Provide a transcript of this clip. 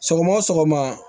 Sɔgɔma o sɔgɔma